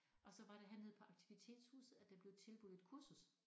Og så var det hernede på aktivitetshuset at der blev tilbudt et kursus